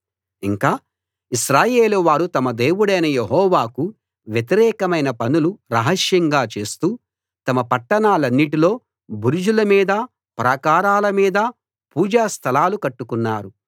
ఇంకా ఇశ్రాయేలు వారు తమ దేవుడైన యెహోవాకు వ్యతిరేకమైన పనులు రహస్యంగా చేస్తూ తమ పట్టణాలన్నిటిలో బురుజుల మీదా ప్రాకారాల మీదా పూజా స్థలాలు కట్టుకున్నారు